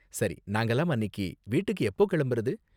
சரி, நாங்கலாம் அன்னிக்கு வீட்டுக்கு எப்போ கிளம்புறது?